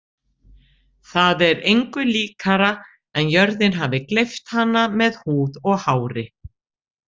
Það er engu líkara en jörðin hafi gleypt hana með húð og hári.